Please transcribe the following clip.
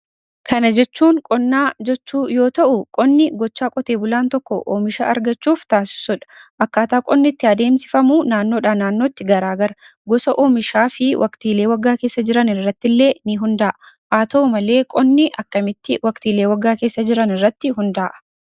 Kana jechuun qonnaa jechuu yoo ta'uu qonni gochaa qotee bulaan tokko oomisha argachuuf taasisudha. Akkaataa qonni itti adeemsifamu naannoodhaa naannootti garaa gara. Gosa oomishaa fi waqtiilee waggaa keessa jiran irrattillee ni hundaa'a. Haa ta'u malee qonni akkamitti waqtiilee waggaa keessa jiran irratti hundaa'a?